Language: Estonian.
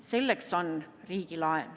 Selleks on riigilaen.